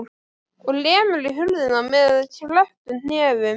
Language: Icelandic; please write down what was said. Og lemur í hurðina með krepptum hnefum.